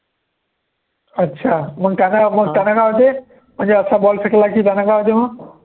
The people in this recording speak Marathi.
अच्छा मंग काय होते म्हणजे असा ball फेकला की त्यांना काय होते मग